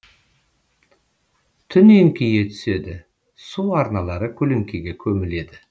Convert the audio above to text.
түн еңкейе түседі су арналары көлеңкеге көміледі